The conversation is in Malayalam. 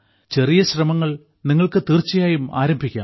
ചെറിയ ശ്രമങ്ങൾ നിങ്ങൾക്ക് തീർച്ചയായും ആരംഭിക്കാം